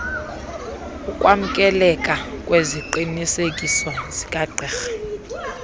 ukwamkeleka kweziqinisekiso zikagqirha